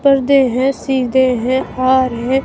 पर्दे हैं सीदे हैं और हैं।